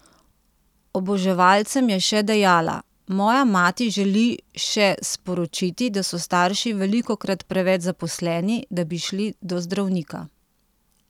Oboževalcem je še dejala: "Moja mati želi še sporočiti, da so starši velikokrat preveč zaposleni, da bi šli do zdravnika.